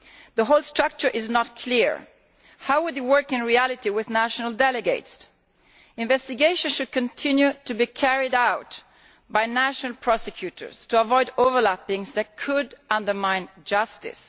The whole structure is not clear. How would it work in reality with national delegates? Investigations should continue to be carried out by national prosecutors to avoid any overlap that could undermine justice.